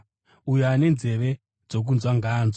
Uyo ane nzeve dzokunzwa ngaanzwe.